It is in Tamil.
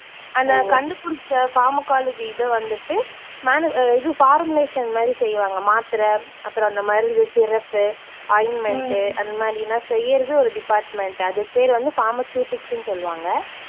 அந்தக் கண்டுபிடிச்ச pharmacology இது வந்துட்டு menu அஹ் இது formulation மாதிரி செய்வாங்க. மாத்திரை அப்புறம் இந்த மருந்து, syrup உ, ointment உ அந்த மாதிரியெல்லாம் செய்றது ஒரு department. அதுக்கு பேரு வந்து pharmaceutics ன்னு சொல்லுவாங்க.